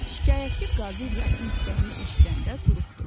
Şikayətçi Qazi İlyasın istəyini eşidəndə duruxdu.